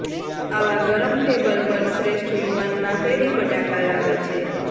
આવા ગરમ ટેબલ પર શ્રેષ્ઠ યુવાન બાફેલી બટાકા લાવે છે